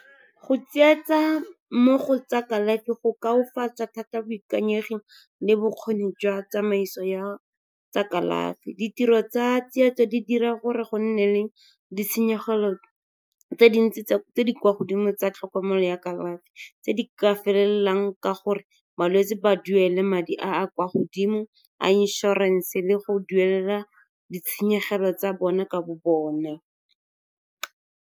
Go tsietsa mo go tsa kalafi go ka thata boikanyegi le bokgoni jwa tsamaiso ya tsa kalafi. Ditiro tsa tsietso di dira gore go nne le ditshenyegelo tse dintsi tse di kwa godimo tsa tlhokomelo ya kalafi, tse di ka felelang ka gore balwetse ba duele madi a kwa godimo a inšorense le go duelela ditshenyegelo tsa bona ka bo bone.